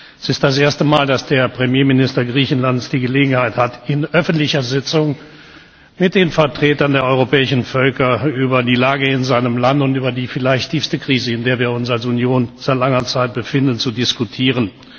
Es ist das erste Mal, dass der Premierminister Griechenlands die Gelegenheit hat, in öffentlicher Sitzung mit den Vertretern der europäischen Völker über die Lage in seinem Land und über die vielleicht tiefste Krise, in der wir uns als Union seit langer Zeit befinden, zu diskutieren.